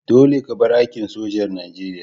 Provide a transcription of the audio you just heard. Dolle ka bar aikin sojar Nijeriya!